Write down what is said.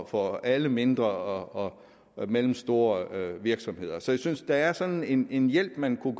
for alle mindre og mellemstore virksomheder så jeg synes at der er sådan en hjælp man kunne